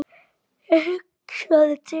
Ég hugsaði til hennar.